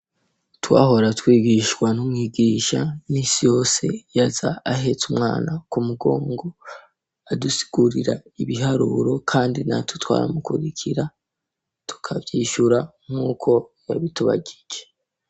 Twahora twigishwa n'umwigisha misi yose yaza ahetse umwana ku mugongo, adusigurira ibiharuro kandi natwe twaramukurikira, tukavyishura nkuko yabitubajije.